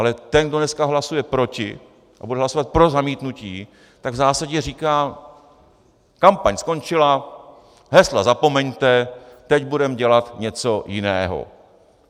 Ale ten, kdo dneska hlasuje proti a bude hlasovat pro zamítnutí, tak v zásadě říká: kampaň skončila, hesla zapomeňte, teď budeme dělat něco jiného.